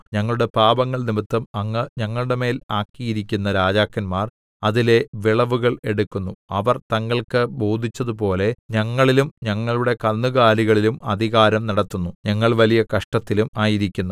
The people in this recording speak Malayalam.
ഞങ്ങളുടെ പാപങ്ങൾ നിമിത്തം അങ്ങ് ഞങ്ങളുടെമേൽ ആക്കിയിരിക്കുന്ന രാജാക്കന്മാർ അതിലെ വിളവുകൾ എടുക്കുന്നു അവർ തങ്ങൾക്ക് ബോധിച്ചതുപോലെ ഞങ്ങളിലും ഞങ്ങളുടെ കന്നുകാലികളിലും അധികാരം നടത്തുന്നു ഞങ്ങൾ വലിയ കഷ്ടത്തിലും ആയിരിക്കുന്നു